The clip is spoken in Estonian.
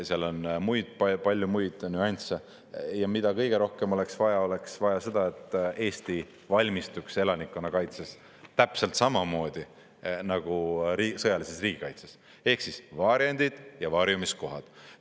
Seal on muid palju muid nüansse, aga mida kõige rohkem oleks vaja, oleks vaja seda, et Eesti valmistuks elanikkonnakaitseks täpselt samamoodi nagu sõjaliseks riigikaitseks: ehk siis varjendid ja varjumiskohad.